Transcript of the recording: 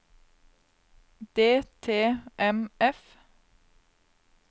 DTMF